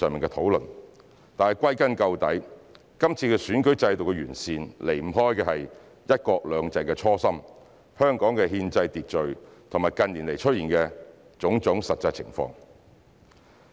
但歸根究底，這次選舉制度的完善離不開"一國兩制"的初心、香港的憲制秩序和近年出現的種種實際情況。